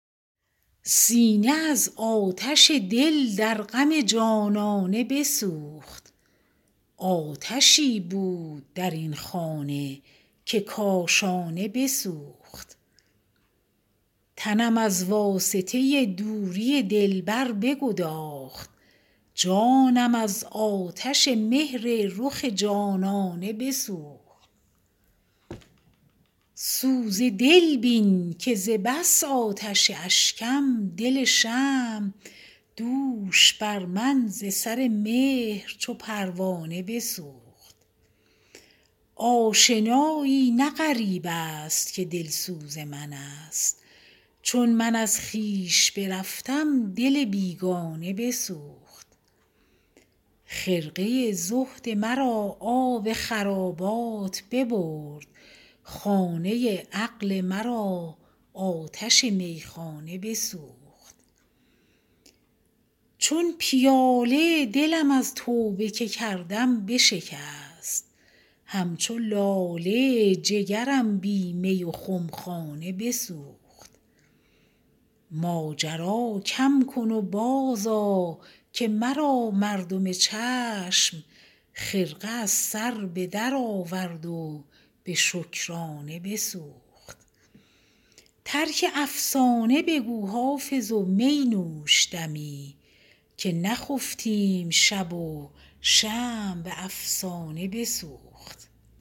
سینه از آتش دل در غم جانانه بسوخت آتشی بود در این خانه که کاشانه بسوخت تنم از واسطه دوری دلبر بگداخت جانم از آتش مهر رخ جانانه بسوخت سوز دل بین که ز بس آتش اشکم دل شمع دوش بر من ز سر مهر چو پروانه بسوخت آشنایی نه غریب است که دلسوز من است چون من از خویش برفتم دل بیگانه بسوخت خرقه زهد مرا آب خرابات ببرد خانه عقل مرا آتش میخانه بسوخت چون پیاله دلم از توبه که کردم بشکست همچو لاله جگرم بی می و خمخانه بسوخت ماجرا کم کن و بازآ که مرا مردم چشم خرقه از سر به درآورد و به شکرانه بسوخت ترک افسانه بگو حافظ و می نوش دمی که نخفتیم شب و شمع به افسانه بسوخت